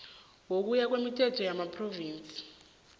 ngokuya kwemithetho yamaphrovinsi